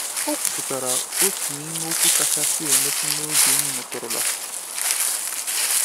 O kwupụtara otu n’ime okwu kachasị emetụ n’obi m nụtụrụla.